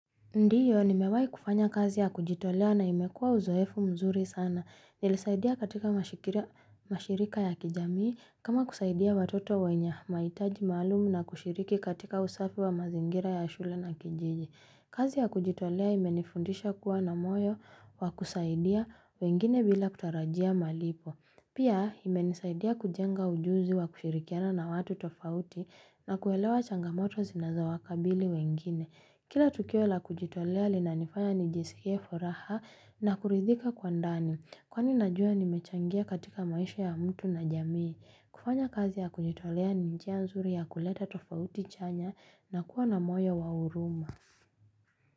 Ndiyo, nimewahi kufanya kazi ya kujitolea na imekuwa uzoefu mzuri sana. Nilisaidia katika mashirika ya kijamii kama kusaidia watoto wenye mahitaji maalumu na kushiriki katika usafi wa mazingira ya shule na kijiji. Kazi ya kujitolea imenifundisha kuwa na moyo wa kusaidia wengine bila kutarajia malipo. Pia imenisaidia kujenga ujuzi wa kushirikiana na watu tofauti na kuelewa changamoto zinazo wakabili wengine. Kila tukio la kujitolea linanifanya nijisikie furaha na kuridhika kwa ndani. Kwani najua nimechangia katika maisha ya mtu na jamii. Kufanya kazi ya kujitolea ni njia nzuri ya kuleta tofauti chanya na kuwa na moyo wa huruma.